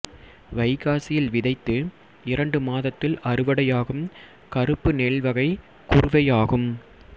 வைகாசியில் விதைத்து இரண்டு மாதத்தில் அறுவடையாகும் கறுப்பு நெல் வகை குறுவையாகும்